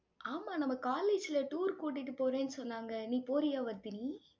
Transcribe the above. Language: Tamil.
ஆமா, நம்ம college ல tour கூட்டிட்டு போறேன்னு சொன்னாங்க. நீ போறியா வர்தினி?